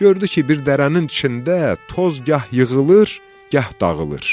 Gördü ki, bir dərənin içində toz gah yığılır, gah dağılır.